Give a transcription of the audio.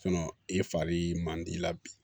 i fari man di i la bi